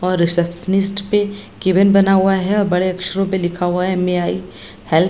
और रिसेप्शनिस्ट पे केबिन बना हुआ है और बड़े अक्षरों पे लिखा हुआ है में आई हेल्प --